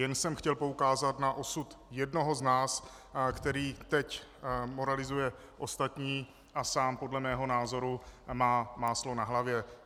Jen jsem chtěl poukázat na osud jednoho z nás, který teď moralizuje ostatní a sám podle mého názoru má máslo na hlavě.